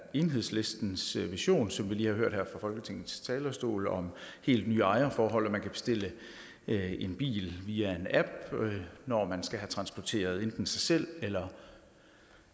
enhedslistens vision som vi lige har hørt her fra folketingets talerstol om helt nye ejerforhold og man kan bestille en bil via en app når man skal have transporteret enten sig selv eller